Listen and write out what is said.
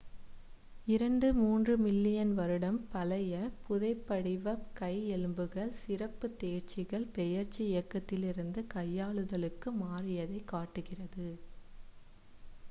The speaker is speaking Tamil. இரண்டுtwo மூன்றுthree மில்லியன் வருடம் பழைய புதைபடிவக் கை எலும்புகள் சிறப்புத் தேர்ச்சிகள் பெயர்ச்சி இயக்கத்திலிருந்து கையாளுதலுக்கு மாறியதைக் காட்டுகிறது